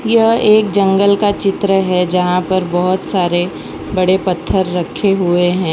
यह एक जंगल का चित्र है जहां पर बहोत सारे बड़े पत्थर रखे हुए हैं।